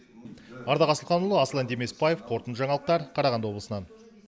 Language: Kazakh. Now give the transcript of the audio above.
ардақ асылханұлы аслан демесбаев қорытынды жаңалықтар қарағанды облысынан